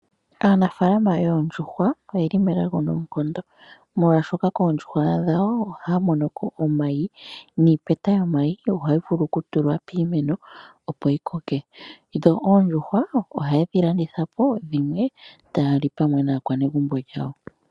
Aanafalama yoondjuhwa oyeli melago noonkondo, molwaashoka koondjuhwa dhawo ohaya monoko omayi, niipeta yomayi ohayi vulu okutulwa piimeno opo yikoke, dho oondjuhwa ohaye dhi landitha po, dhimwe taya li naakwanezimo lyawo.